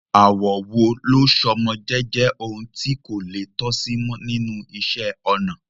Àwọ̀ wo ló so mọ́ jíjẹ́ ohun tí kò le tó sì mọ́ nínú iṣẹ́-ọnà?